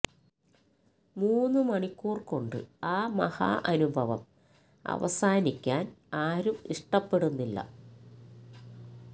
മൂന്ന് മണിക്കൂർ കൊണ്ട് ആ മഹാ അനുഭവം അവസാനിക്കാൻ ആരും ഇഷ്ടപ്പെടുന്നില്ല